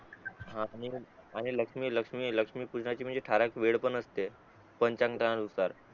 हा आणि लक्ष्मी लक्ष्मी लक्ष्मी पूजनाची ठराविक म्हणजे वेळ पण असते पंचांता नुसार